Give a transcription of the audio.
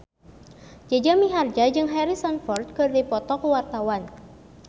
Jaja Mihardja jeung Harrison Ford keur dipoto ku wartawan